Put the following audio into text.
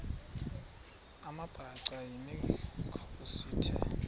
amabhaca yimikhosi the